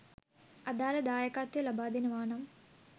අදාළ දායකත්වය ලබාදෙනවා නම්